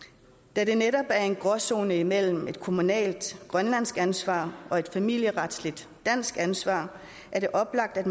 da der netop er tale om en gråzone imellem et kommunalt grønlandsk ansvar og et familieretsligt dansk ansvar er det oplagt at